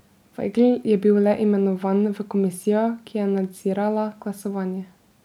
Vajgl je bil le imenovan v komisijo, ki je nadzirala glasovanje.